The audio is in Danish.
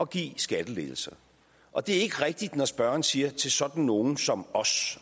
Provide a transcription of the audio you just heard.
give skattelettelser og det er ikke rigtigt når spørgeren siger til sådan nogle som os